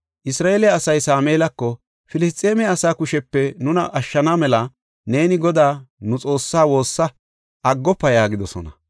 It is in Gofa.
Isra7eele asay Sameelako, “Filisxeeme asaa kushepe nuna ashshana mela neeni Godaa, nu Xoossa woosa aggofa” yaagidosona.